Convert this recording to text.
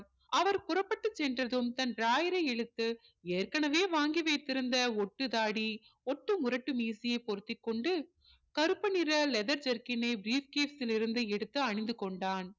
அவர் புறப்பட்டு சென்றதும் தன் drawer ரை இழுத்து ஏற்கனவே வாங்கி வைத்திருந்த ஒட்டுதாடி ஒட்டு முரட்டு மீடையை பொருத்திக்கொண்டு கருப்பு நிற leather jerkin னை brief ல் இருந்து எடுத்து அணிந்து கொண்டான்